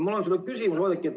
Mul on sulle küsimus, Oudekki.